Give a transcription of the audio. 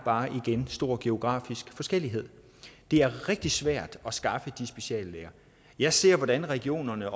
stor geografisk forskellighed det er rigtig svært at skaffe de speciallæger jeg ser hvordan regionerne